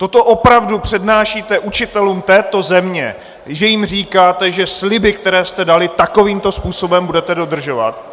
Toto opravdu přednášíte učitelům této země, že jim říkáte, že sliby, které jste dali, takovýmto způsobem budete dodržovat?